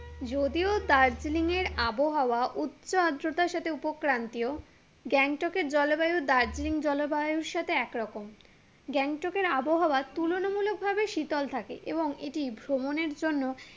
যদিও দার্জিলিংয়ের আবহাওয়া উচ্ছ আদ্রতার সাথে উপক্রান্তীয় গ্যাংটকের জলবায়ু দার্জিলিং জলবায়ুর সাথে একরকম গ্যাংটকের আবহাওয়া তুলনা মূলক ভাবে শীতল থাকে এবং এটি ভ্রমণের জন্য